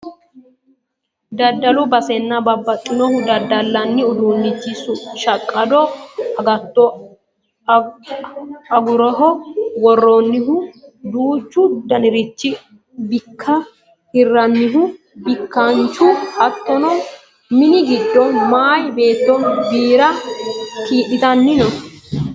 Daddalu basenna babbaxinohu daddallanni udiinnichi shaqqado agatto ogoroho worronnihu duuchu danirichinna bikkine hirrannihu bikkaanchu hattono mini giddo meya beetto birra kiidhitanni no